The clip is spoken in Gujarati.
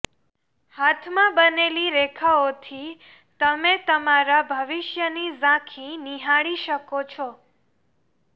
હાથમાં બનેલી રેખાઓથી તમે તમારા ભવિષ્યની ઝાંખી નીહાળી શકો છો